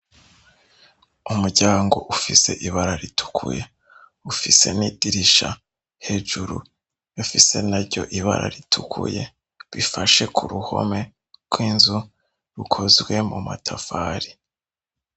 Umuryango ufise ibara ritukuye. Ufise n'idirisha hejuru rifise naryo ibara ritukuye. Bifashe ku ruhome rw'inzu rukozwe mu matafari.